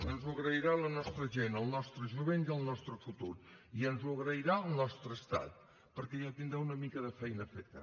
ens ho agrairà la nostra gent el nostre jovent i el nostre futur i ens ho agrairà el nostre estat perquè ja tindrà una mica de feina feta